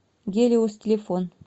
гелиос телефон